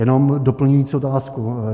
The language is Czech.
Jenom doplňující otázku.